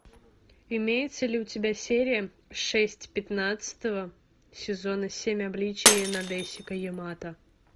имеется ли у тебя серия шесть пятнадцатого сезона семь обличий надэсико ямато